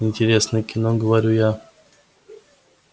интересное кино говорю я